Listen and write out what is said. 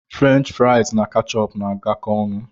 Frenchi friasi na kechupu na-agakọta ọnụ